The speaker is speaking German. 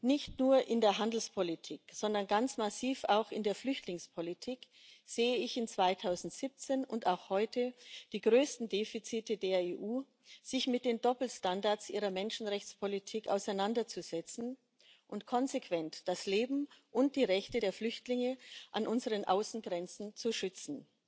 Nicht nur in der Handelspolitik, sondern ganz massiv auch in der Flüchtlingspolitik sehe ich im Jahr 2017 und auch heute die größten Defizite der EU, sich mit den Doppelstandards ihrer Menschenrechtspolitik auseinanderzusetzen und konsequent das Leben und die Rechte der Flüchtlinge an unseren Außengrenzen zu schützen.